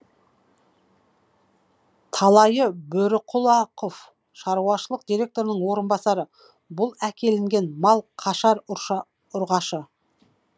талайы бөріқұлақов шаруашылық директорының орынбасары бұл әкелінген мал қашар ұрғашы